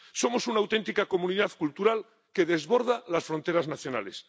Somos una auténtica comunidad cultural que desborda las fronteras nacionales.